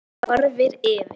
Hann horfir yfir